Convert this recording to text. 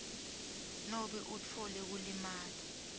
nobe utfole kulimala